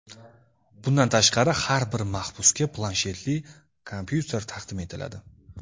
Bundan tashqari, har bir mahbusga planshetli kompyuter taqdim etiladi.